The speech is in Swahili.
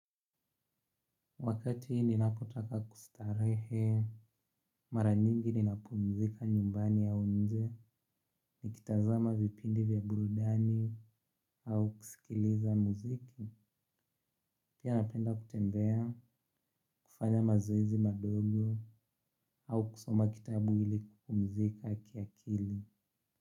Wakati ninapotaka kustarehe, mara nyingi ninapumzika nyumbani ya nje, nikitazama vipindi vya burudani, au kusikiliza muziki, pia napenda kutembea, kufanya mazoezi madogo, au kusoma kitabu ili kupumzika kiakili.